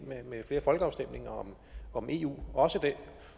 med flere folkeafstemninger om eu også